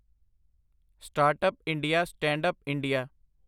startup India, standup India